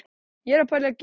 Skonsur frá Miðjarðarhafi